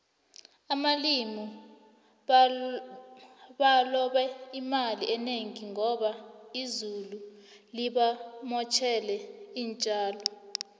abalimi balobe imali enengi ngoba izulu libamotjele intjalo